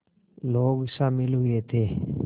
लोग शामिल हुए थे